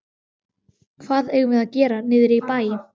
Hvað eigum við að gera niðri í bæ?